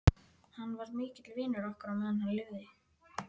Hann var mikill vinur okkar á meðan hann lifði.